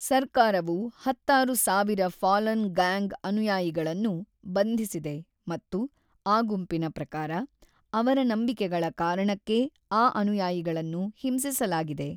ಸರ್ಕಾರವು ಹತ್ತಾರು ಸಾವಿರ ಫಾಲನ್‌ ಗಾಂಗ್ ಅನುಯಾಯಿಗಳನ್ನು ಬಂಧಿಸಿದೆ ಮತ್ತು, ಆ ಗುಂಪಿನ ಪ್ರಕಾರ, ಅವರ ನಂಬಿಕೆಗಳ ಕಾರಣಕ್ಕೇ ಆ ಅನುಯಾಯಿಗಳನ್ನು ಹಿಂಸಿಸಲಾಗಿದೆ.